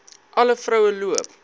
alle vroue loop